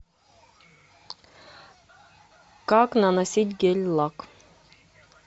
как наносить гель лак